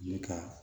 Ne ka